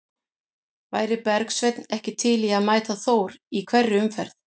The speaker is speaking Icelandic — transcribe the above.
Væri Bergsveinn ekki til í að mæta Þór í hverri umferð?